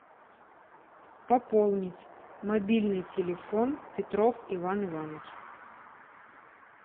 пополнить мобильный телефон петров иван иванович